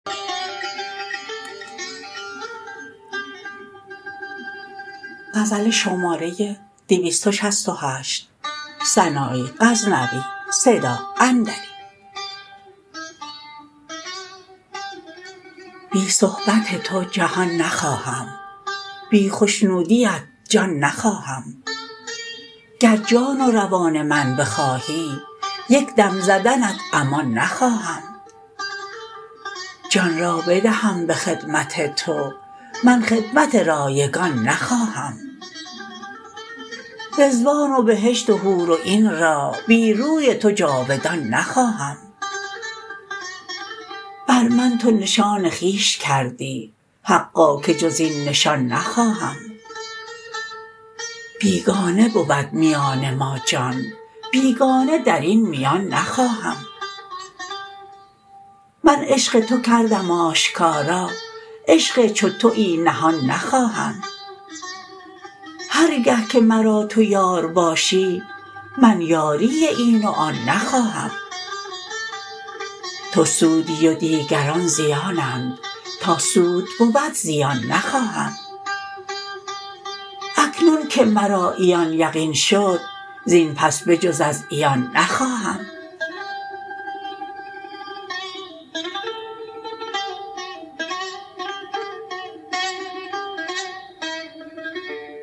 بی صحبت تو جهان نخواهم بی خشنودیت جان نخواهم گر جان و روان من بخواهی یک دم زدنت امان نخواهم جان را بدهم به خدمت تو من خدمت رایگان نخواهم رضوان و بهشت و حور و عین را بی روی تو جاودان نخواهم بر من تو نشان خویش کردی حقا که جز این نشان نخواهم بیگانه بود میان ما جان بیگانه درین میان نخواهم من عشق تو کردم آشکارا عشق چو تویی نهان نخواهم هر گه که مرا تو یار باشی من یاری این و آن نخواهم تو سودی و دیگران زیانند تا سود بود زیان نخواهم اکنون که مرا عیان یقین شد زین پس به جز از عیان نخواهم